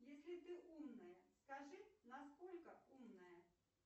если ты умная скажи насколько умная